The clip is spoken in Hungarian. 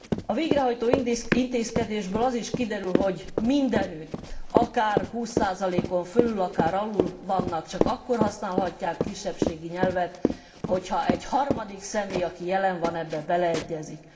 A végrehajtó intézkedésből az is kiderül, hogy mindenütt, akár húsz százalékon fölül, akár alul vannak, csak akkor használhatják a kisebbségi nyelvet, hogy ha egy harmadik személy, aki jelen van ebbe beleegyezik.